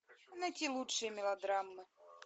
найти лучшие мелодрамы